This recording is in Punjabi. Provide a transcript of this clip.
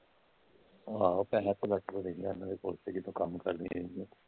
ਆਹ .